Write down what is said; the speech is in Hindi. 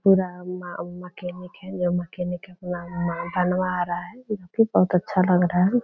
पूरा म मकेनिक है जो मकेनिक है अपना माल बनवा रहा है बहुत अच्छा लग रहा है।